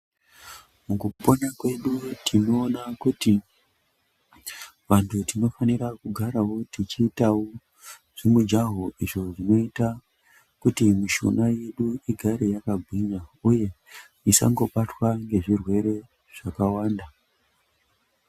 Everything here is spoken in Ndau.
Mukupona kwedu tinoona kuti vantu tinofanira kugarawo tichiitawo zvimujaho izvo zvinoita kuti mishuna yedu igare yakagwinya uye isangobatwa ngezvirwere zvakawanda.